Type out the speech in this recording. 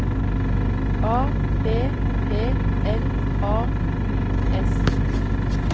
A P P L A U S